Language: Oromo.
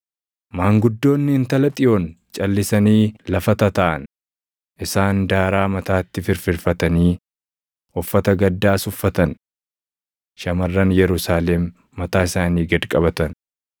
Maanguddoonni Intala Xiyoon calʼisanii lafa tataaʼan; isaan daaraa mataatti firfirfatanii uffata gaddaas uffatan. Shamarran Yerusaalem mataa isaanii gad qabatan.